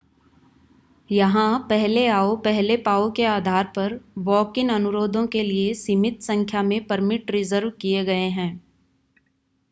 यहां पहले आओ पहले पाओ के आधार पर वॉक-इन अनुरोधों के लिए सीमित संख्या में परमिट रिज़र्व किए गए हैं